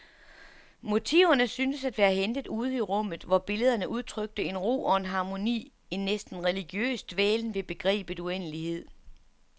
Motiverne syntes at være hentet ude i rummet, hvor billederne udtrykte en ro og en harmoni, en næsten religiøs dvælen ved begrebet uendelighed.